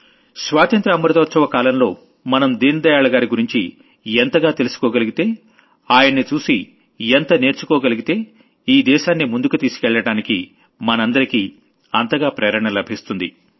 స్వాతంత్ర్య అమృతోత్సవ కాలంలో మనం దీన్ దయాళ్ గారి గురించి ఎంతగా తెలుసుకోగలిగితే ఆయన్ని చూసి ఎంత నేర్చుకోగలిగితే ఈ దేశాన్ని ముందుకు తీసుకెళ్లడానికి మనందరికీ అంతగా ప్రేరణ లభిస్తుంది